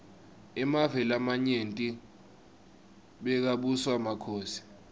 emave lamanyenti bekabuswa makhosi